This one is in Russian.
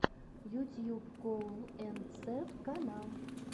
ютьюб коул энд сэв канал